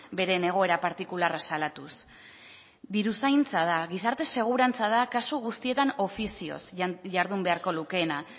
beren egoera partikularra salatuz diruzaintza da gizarte segurantza da kasu guztietan ofizioz jardun beharko lukeena